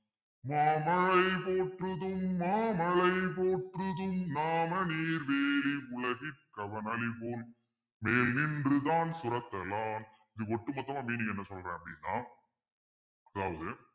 மாமழை போற்றுதும் மாமழை போற்றுதும் நாமநீர் வேலி உலகிற்கு அவனளிபோல் மேநின்று தாஞ்சுரத்த லான் இது ஒட்டுமொத்தமா meaning என்ன சொல்றேன் அப்பிடின்னா அதாவது